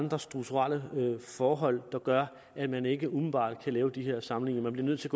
andre strukturelle forhold der gør at man ikke umiddelbart kan lave de her sammenligninger man bliver nødt til